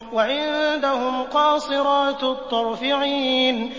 وَعِندَهُمْ قَاصِرَاتُ الطَّرْفِ عِينٌ